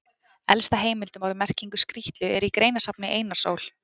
Elsta heimild um orðið í merkingu skrýtlu er í greinasafni Einars Ól.